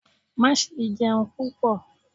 ma sé jẹun pupọ!